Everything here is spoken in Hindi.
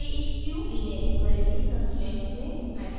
aeq : लीनियर इक्वालिटी कंस्ट्रेंट्स में मेट्रिक्स है